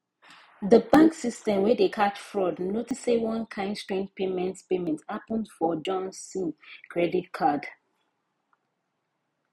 the bank system wey dey catch fraud notice say one kain strange payment payment happen for johnson credit card